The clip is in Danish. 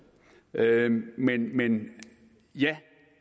men ja